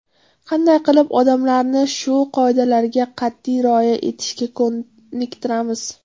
Qanday qilib odamlarni shu qoidalarga qat’iy rioya etishga ko‘niktiramiz?